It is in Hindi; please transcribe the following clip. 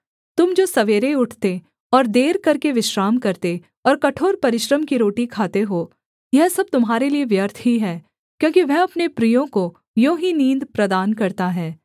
तुम जो सवेरे उठते और देर करके विश्राम करते और कठोर परिश्रम की रोटी खाते हो यह सब तुम्हारे लिये व्यर्थ ही है क्योंकि वह अपने प्रियों को यों ही नींद प्रदान करता है